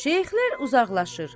Şeyxlər uzaqlaşır.